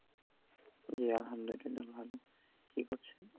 জী আলহামদুল্লিলা ভালো, কি করছেন?